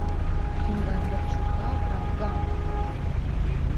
фильм бондарчука про афган по моему